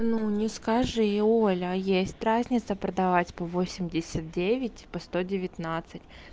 ну не скажи оля есть разница продавать по восемьдесят девять и по сто девятнадцать